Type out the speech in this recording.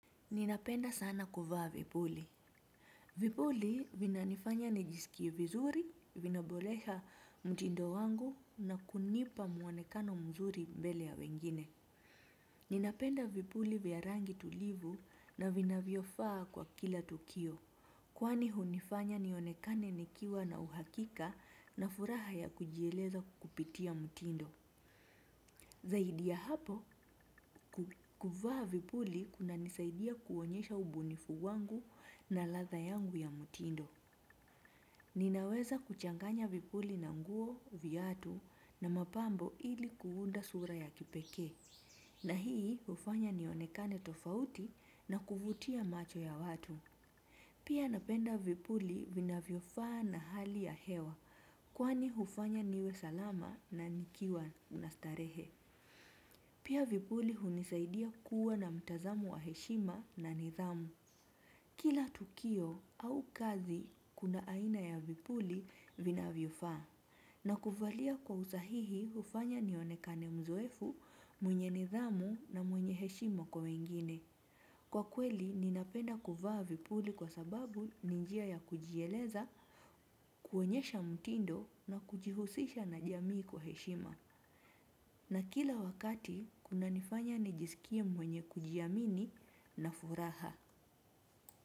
Ninapenda sana kuvaa vipuli. Vipuli vina nifanya nijisikie vizuri, vina boresha mtindo wangu na kunipa muonekano mzuri mbele ya wengine. Ninapenda vipuli vya rangi tulivu na vinavyofaa kwa kila tukio. Kwani hunifanya nionekane nikiwa na uhakika na furaha ya kujieleza kupitia mtindo. Zaidi ya hapo kuvaa vipuli kuna nisaidia kuonyesha ubunifu wangu na latha yangu ya mtindo. Ninaweza kuchanganya vipuli na nguo, viatu na mapambo ili kuunda sura ya kipekee. Na hii hufanya nionekane tofauti na kuvutia macho ya watu. Pia napenda vipuli vinavyofaa na hali ya hewa kwani hufanya niwe salama na nikiwa nastarehe. Pia vipuli hunisaidia kuwa na mtazamo wa heshima na nidhamu. Kila tukio au kazi, kuna aina ya vipuli vinavyo faa. Na kuvalia kwa usahihi hufanya nionekane mzoefu mwenye nidhamu na mwenye heshima kwa wengine. Kwa kweli, ninapenda kuvaa vipuli kwa sababu ni njia ya kujieleza, kuoenyesha mtindo na kujihusisha na jamii kwa heshima. Na kila wakati kuna nifanya nijisikie mwenye kujiamini na furaha.